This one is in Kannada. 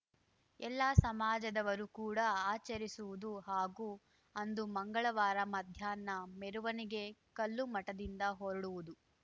ಎಲ್ಲ ಸಮಾಜದವರೂ ಕೂಡ ಆಚರಿಸುವುದು ಹಾಗೂ ಅಂದು ಮಂಗಳವಾರ ಮಧ್ಯಾಹ್ನ ಮೆರವಣಿಗೆ ಕಲ್ಲುಮಠದಿಂದ ಹೊರಡುವುದು